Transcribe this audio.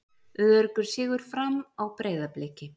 Öruggur sigur Fram á Breiðabliki